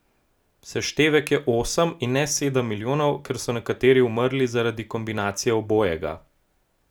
Seštevek je osem in ne sedem milijonov, ker so nekateri umrli zaradi kombinacije obojega.